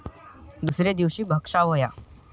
दुसरे दिवशी भक्षावया ॥